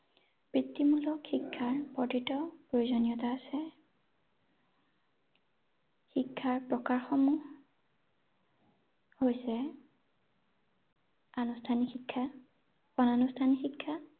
বৃত্তিমূলক শিক্ষাৰ অতিকৈ প্ৰয়োজনীয়তা আছে ৷ শিক্ষাৰ প্ৰকাশ সমুহ হৈছে আনুষ্ঠানিক শিক্ষা, অনানুষ্ঠানিক শিক্ষা